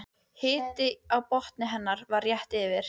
Hiti á botni hennar var rétt yfir